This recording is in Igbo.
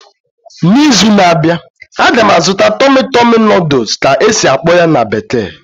N'izu na-abịa, a ga m azụta 'tummy tummy noodles' ka e si akpo ya na bekee